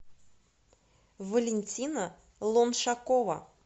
валентина лоншакова